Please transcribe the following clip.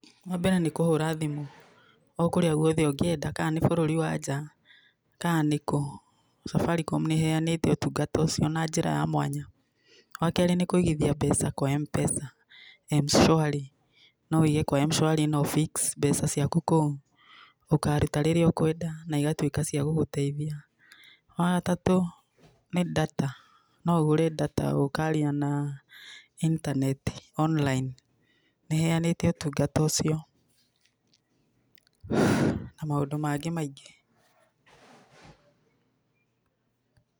Wa mbere nĩ kũhũra thimũ o karĩa gũothe ũngĩenda, kana nĩ bũrũri wa nja, ka nĩkũ, Safaricom nĩ ĩheanĩte ũtungata ũcio na njĩra ya mwanya. Wa kerĩ nĩ kũigithia mbeca kwa MPESA, M-Shwari. No wũige kwa M-Shwari na ũ fix mbeca ciaku kũu, ũkaaruta rĩrĩa ũkwenda na igatuĩka cia gũgũteithia. Wa gatatũ nĩ data. No ũgũre data, ũkaaria na internet, online, nĩ ĩheanĩte ũtungata ũcio, na maũndũ mangĩ maingĩ.